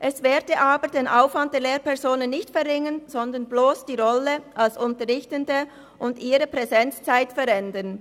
Dies werde aber den Aufwand der Lehrpersonen nicht verringern, sondern bloss die Rolle als Unterrichtende und ihre Präsenzzeit verändern.